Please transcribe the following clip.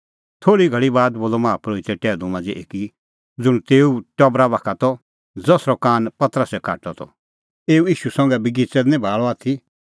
थोल़ी घल़ी बाद बोलअ माहा परोहिते टैहलू मांझ़ै एकी ज़ुंण तेऊए टबरा बाखा त ज़सरअ कान पतरसै काटअ त तूह मंऐं एऊ ईशू संघै बगिच़ै दी निं भाल़अ आथी